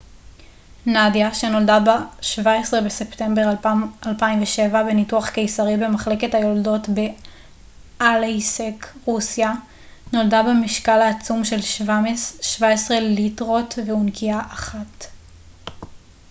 נדיה שנולדה ב-17 בספמטבר 2007 בניתוח קיסרי במחלקת היולדות באלייסק רוסיה נולדה במשקל העצום של 17 ליטרות ואונקיה אחת